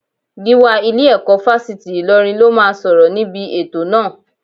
Gíwá ilé-ẹ̀kọ́ Fásitì Ìlọrin ló máa sọ̀rọ̀ níbi ètò náà